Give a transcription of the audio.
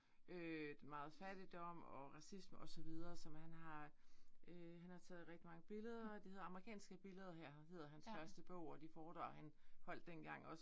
Øh meget fattigdom og racisme og så videre som han har øh. Han har taget rigtig mange billeder det hedder amerikanske billeder her hedder han første bog og det foredrag han holdt dengang også